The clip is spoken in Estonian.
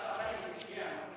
Istungi lõpp kell 17.57.